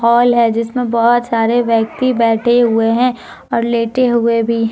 Hall है जिसमें बहुत सारे व्यक्ति बैठे हुए हैं और लेते हुए भी हैं।